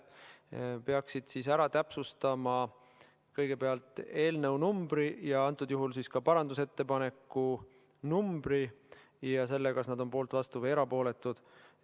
Nad peaksid siis ära täpsustama kõigepealt eelnõu numbri ja antud juhul siis ka parandusettepaneku numbri ja selle, kas nad on poolt, vastu või erapooletud.